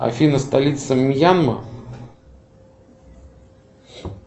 афина столица мьянма